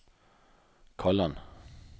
Kalland